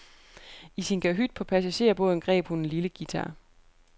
I sin kahyt på passagerbåden greb hun en lille guitar.